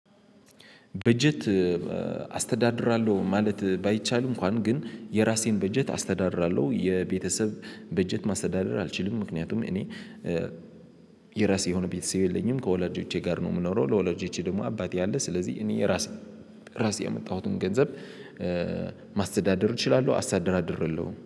በጀት አስተዳድራለሁ ማለት ባይቻልም እንኳን ግን የራሴን በጀት አስተዳድራለሁ። የቤተሰብ በጀት ማስተዳደር አልችልም ምክንያቱም እኔ የራሴ የሆነ ቤተሰብ የለኝም። ከወላጆቼ ጋር ነው የምኖረው። ለወላጆቼ ደግሞ አባቴ አለ ስለዚህ እኔ ራሴ ራሴ ያመጣሁትን ገንዘብ ማስተዳደር እችላለሁ አስተዳድራለሁ